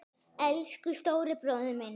Elsku stóri bróðir minn.